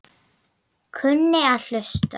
Og kunni að hlusta.